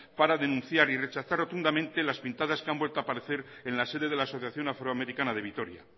para denunciar y rechazar rotundamente las pintadas que han vuelto a aparecer en la sede de la asociación afroamericana de vitoria